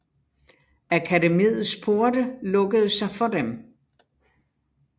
Akademiets porte lukkede sig for dem